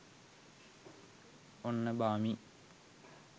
ඔන්න බාමි